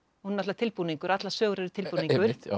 náttúrulega tilbúningur allar sögur eru tilbúningur